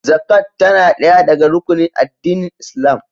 Zakat tana ɗaya daga rukunin addinin Islam